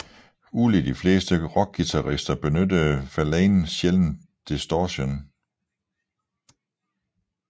Ulig de fleste rockguitarister benyttede Verlaine sjældendt distortion